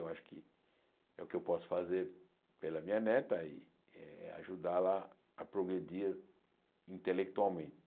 Eu acho que é o que eu posso fazer pela minha neta e eh ajudá-la a progredir intelectualmente.